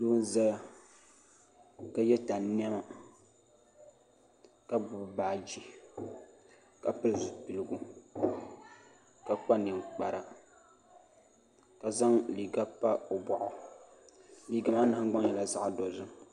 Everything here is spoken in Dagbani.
Doo n ʒɛya ka yɛ tani niɛma ka gbubi baaji ka pili zipipigu ka kpa ninkpara ka zaŋ liiga pa o boɣu liiga maa nahangbaŋ nyɛla zaɣ dozim